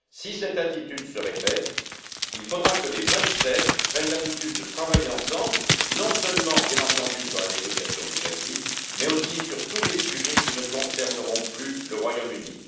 Si cette attitude se répète, il faudra que les Vingt sept prennent l'habitude de travailler ensemble, non seulement sur la négociation du Brexit, mais aussi sur tous les sujets qui ne concerneront plus le Royaume Uni.